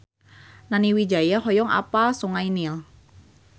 Nani Wijaya hoyong apal Sungai Nil